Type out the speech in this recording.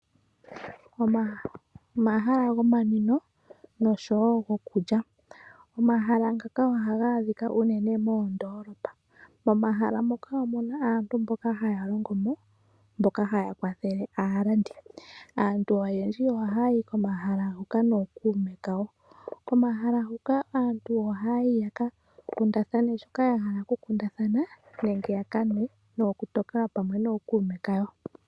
Omahala gomanwino noshowo gokulya. Omahala ngaka ohaga adhika unene moondolopa momahala muka omu na aantu mboka haya longomo mboka haya kwathele aalandi. Aantu oyendji ohaya yi komahala huka nookuume kawo. Komahala huka aantu ohaya yi yaka kundathane shoka ya hala kukundathana nenge ya kanwe nokutokelwa pamwe nookuume kawo.